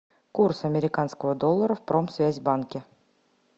курс американского доллара в промсвязьбанке